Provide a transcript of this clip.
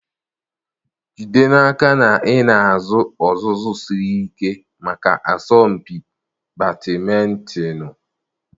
Jide n'aka na ị na-azụ ọzụzụ siri ike maka asọmpi badịmịítonịị.